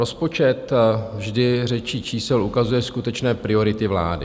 Rozpočet vždy řečí čísel ukazuje skutečné priority vlády.